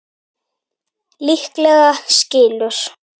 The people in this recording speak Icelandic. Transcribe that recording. Líklega skilur